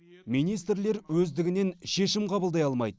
министрлер өздігінен шешім қабылдай алмайды